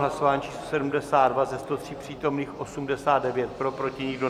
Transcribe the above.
Hlasování číslo 72, ze 103 přítomných 89 pro, proti nikdo.